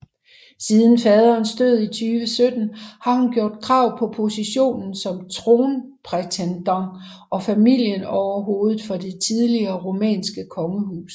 Siden faderens død i 2017 har hun gjort krav på positionen som tronprætendent og familieoverhoved for det tidligere rumænske kongehus